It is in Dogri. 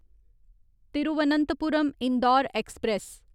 तिरुवनंतपुरम ईंदौर ऐक्सप्रैस